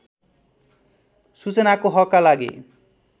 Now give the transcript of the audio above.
सूचनाको हकका लागि